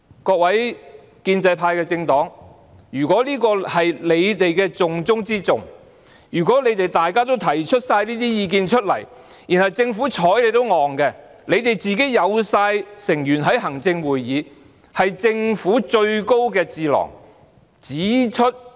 各位建制派政黨的議員，如果這是你們重中之重的工作，如果大家已經提出這些意見，政府卻完全"睬你都戇"，你們全部也有自己的成員在行政會議中，那是政府最高的智囊。